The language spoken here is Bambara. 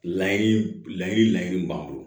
Layiri layiri laɲini b'an bolo